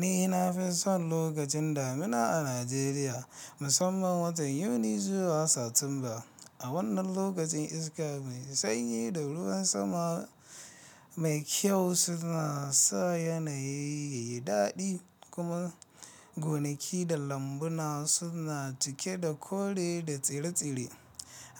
Ni na fi son lokacin damina a Najeriya musamman watan Yuni zuwa Satumba. A wannan lokacin iska mai sanyi da ruwan sama mai kyau suna sa yanayi yayi dadi kuma gonaki da lambuna suna cike da kore da tsire-tsire.